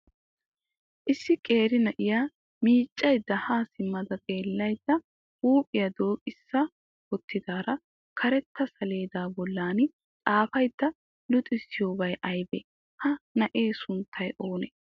Issi qeera na'iya miiccayidda haa simma xeellayidda huuphiyaa dooqissa wottidaara karetta saleedaa bollan xaafada luxissiyoobay ayibee? Ha na'ee sunttay oonee?